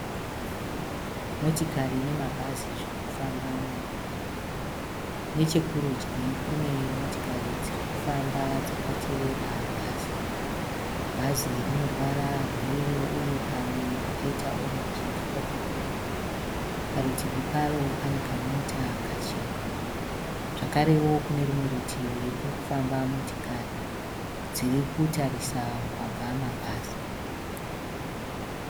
Motikari nemabhazi zviri kufamba mumugwagwa. Nechekurudyi kune motikari dziri kufamba dzakatevera bhazi. Bhazi rine ruvara rweyero uye pamwe pakaita orenji ndipo pakuru. Parutivi paro pane kamota kachena. Zvakarewo kune rumwe rutivi kuri kufamba motikari dziri kutarisa kwabva mabhazi.